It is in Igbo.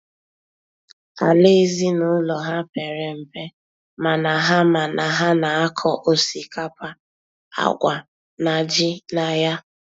Àlà ezinụlọ ha pere mpe mana ha mana ha na-akọ osikapa, àgwà na ji na ya.